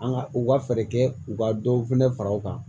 An ka u ka fɛɛrɛ kɛ u ka dɔw fɛnɛ fara u kan